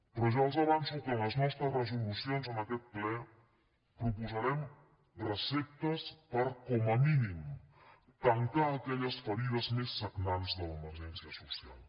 però ja els avanço que en les nostres resolucions en aquest ple proposarem receptes per com a mínim tancar aquelles ferides més sagnants de l’emergència social